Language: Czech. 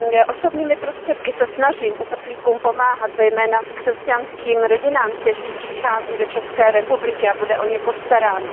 Osobními prostředky se snažím uprchlíkům pomáhat, zejména křesťanským rodinám, které přichází do České republiky a o které bude postaráno.